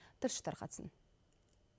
тілші тарқатсың